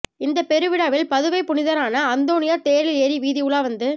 இந்த பெருவிழாவில் பதுவைப் புனிதரான அந்தோனியார் தேரில் ஏறி வீதி உலா வந்து